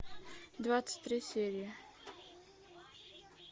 двадцать три серии